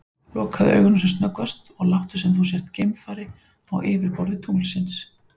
Lokaðu augunum sem snöggvast og láttu sem þú sért geimfari á yfirborði tunglsins.